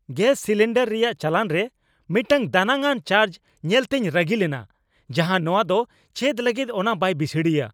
Gas cylinder ᱨᱮᱭᱟᱜ ᱪᱟᱞᱟᱱᱨᱮ ᱢᱤᱫᱴᱟᱝ ᱫᱟᱱᱟᱝᱼᱟᱱ ᱪᱟᱨᱡᱽ ᱧᱮᱞᱛᱤᱧ ᱨᱟᱹᱜᱤ ᱞᱮᱱᱟ, ᱡᱟᱦᱟᱸ ᱱᱚᱶᱟ ᱫᱚ ᱪᱮᱫ ᱞᱟᱹᱜᱤᱫ ᱚᱱᱟ ᱵᱟᱭ ᱵᱤᱥᱲᱤᱭᱟ ᱾